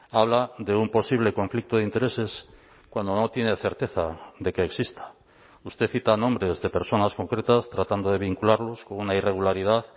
habla de un posible conflicto de intereses cuando no tiene certeza de que exista usted cita nombres de personas concretas tratando de vincularlos con una irregularidad